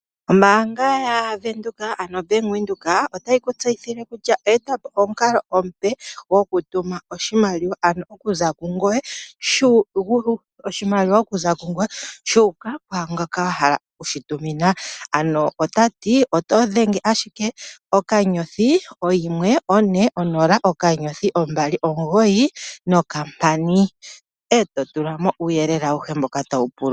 Ombaanga yaVenduka ano oBank Windhoek otayi ku tseyithile kutya oye e ta po omukalo omupe gokutuma oshimaliwa, ano okuza kungoye shu uka kungoka wa hala oku shi tumina. Ano ota ti oto dhenge ashike *140*295# e to tula mo uuyelele awuhe mboka tawu pulwa.